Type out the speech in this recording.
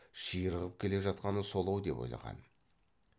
ширығып келе жатқаны сол ау деп ойлаған